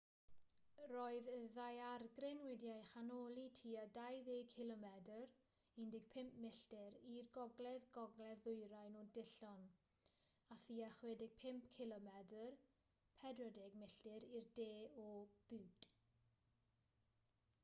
roedd y ddaeargryn wedi'i chanoli tua 20 cilomedr 15 milltir i'r gogledd-gogledd ddwyrain o dillon a thua 65 cilomedr 40 milltir i'r de o butte